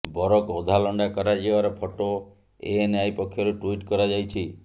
ବରକୁ ଅଧା ଲଣ୍ଡା କରାଯିବାର ଫଟୋ ଏଏନ୍ଆଇ ପକ୍ଷରୁ ଟ୍ୱିଟ୍ କରାଯାଇଛି